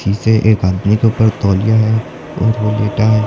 पीछे एक आदमी के ऊपर तौलिया है और वो लेटा है।